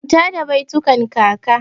Manta da baitukan kaka!